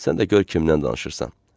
Sən də gör kimdən danışırsan.